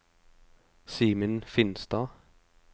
Simen Finstad